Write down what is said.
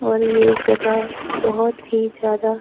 और ये जगह बहुत ही ज्यादा--